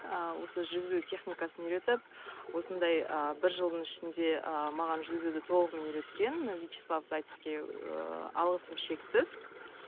ы осы жүзу техникасын үйретіп осындай ы бір жылдың ішінде ы маған жүзуді толығымен үйреткен вячеслав зайцевке ыыы алғысым шексіз